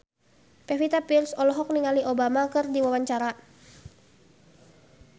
Pevita Pearce olohok ningali Obama keur diwawancara